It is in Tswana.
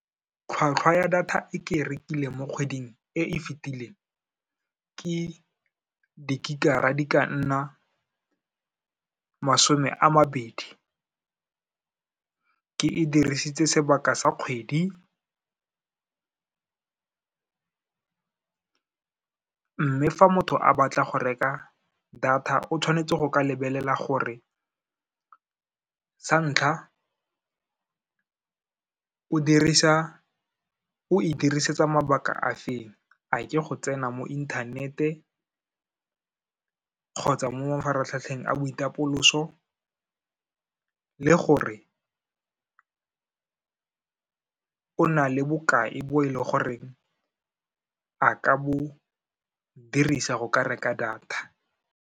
Tlhwatlhwa ya data e ke rekile mo kgweding e e fetileng, ke di-gig-ara di ka nna masome a mabedi, ke e dirisitse sebaka sa kgwedi. Mme ka fa motho a batla go reka data, o tshwanetse go ka lebelela gore sa ntlha, o e dirisetsa mabaka a feng, a ke go tsena mo inthanete kgotsa mo mafaratlhatlheng a boitapoloso, le gore o na le bokae bo e le goreng a ka bo dirisa go ka reka data.